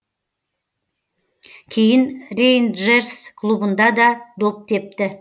кейін рейнджерс клубында да доп тепті